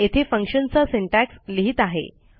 येथे फंक्शनचा सिंटॅक्स लिहित आहे